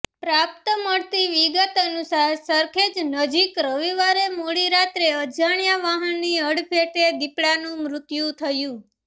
પ્રાપ્ત મળતી વિગત અનુસાર સરખેજ નજીક રવિવારે મોડી રાત્રે અજાણ્યા વાહનની અડફેટે દીપડાનું મૃત્યું થયું